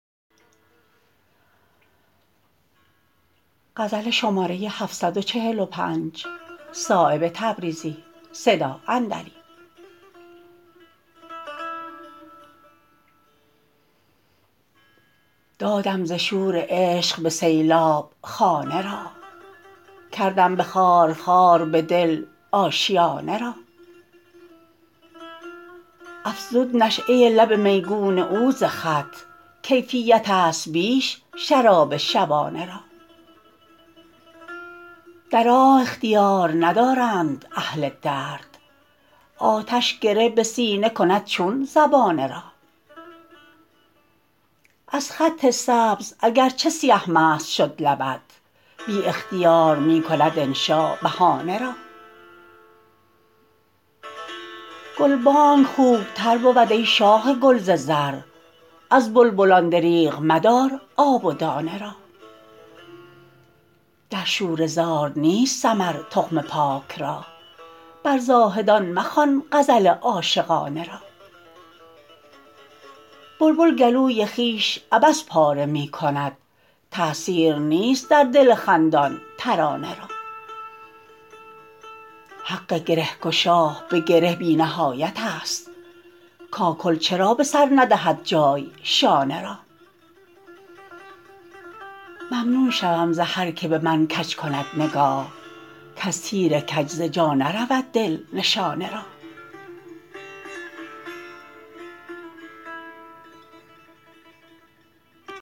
دادم ز شور عشق به سیلاب خانه را کردم به خارخار بدل آشیانه را افزود نشأه لب میگون او ز خط کیفیت است بیش شراب شبانه را در آه اختیار ندارند اهل درد آتش گره به سینه کند چون زبانه را از خط سبز اگر چه سیه مست شد لبت بی اختیار می کند انشا بهانه را گلبانگ خوبتر بود ای شاخ گل ز زر از بلبلان دریغ مدار آب و دانه را در شوره زار نیست ثمر تخم پاک را بر زاهدان مخوان غزل عاشقانه را بلبل گلوی خویش عبث پاره می کند تأثیر نیست در دل خندان ترانه را حق گرهگشا به گره بی نهایت است کاکل چرا به سر ندهد جای شانه را ممنون شوم ز هر که به من کج کند نگاه کز تیر کج ز جا نرود دل نشانه را